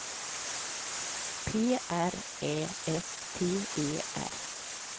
P R Ä S T E R